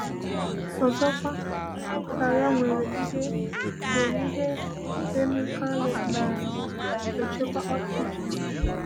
“Ọzọkwa, akwara ya nwere ihe nwere ihe kemịkalụ na-echekwa oxygen.”